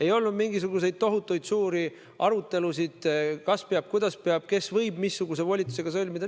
Ei olnud mingisuguseid tohutuid suuri arutelusid, kas peab ja kuidas peab ning kes võib missuguse volitusega lepingu sõlmida.